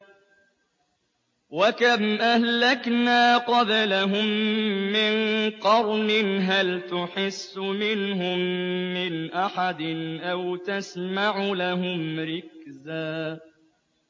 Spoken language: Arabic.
وَكَمْ أَهْلَكْنَا قَبْلَهُم مِّن قَرْنٍ هَلْ تُحِسُّ مِنْهُم مِّنْ أَحَدٍ أَوْ تَسْمَعُ لَهُمْ رِكْزًا